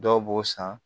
Dɔw b'o san